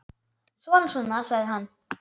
Svona, svona, sagði hann.